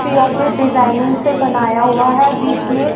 P O P designing से बनाया हुआ हैं बीच में--